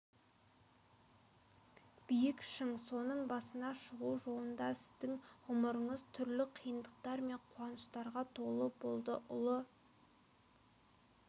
биік шың соның басына шығу жолында сіздің ғұмырыңыз түрлі қиындықтар мен қуаныштарға толы болды ұлы